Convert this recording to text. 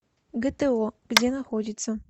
гто где находится